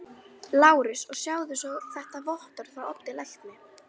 LÁRUS: Og sjáið svo þetta vottorð frá Oddi lækni.